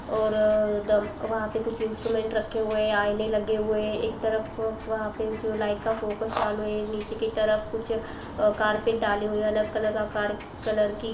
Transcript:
और डम्प वहां पे इन्सटूमेन्ट रखे हुए है। आईने लगे हुए है। एक तरफ वहां पे जो लाइट का फोकस चालू है। नीचे की तरफ कुछ कार्पेट डाले हुए है। अलग का आकार कलर की। --